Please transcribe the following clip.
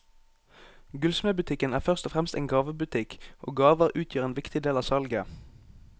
Gullsmedbutikken er først og fremst en gavebutikk, og gaver utgjør en viktig del av salget.